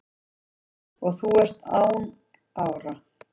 og þú ert án ára